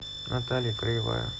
наталья краевая